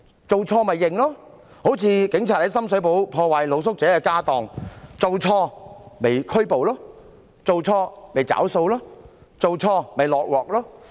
做錯便承認，例如警察在深水埗破壞露宿者的家當，做錯便拘捕，做錯便"找數"，做錯便"落鑊"。